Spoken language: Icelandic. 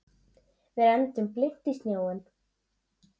Við renndum blint í sjóinn.